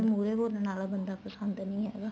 ਮੁਹਰੇ ਬੋਲਣ ਵਾਲਾ ਬੰਦਾ ਪਸੰਦ ਨਹੀਂ ਹੈਗਾ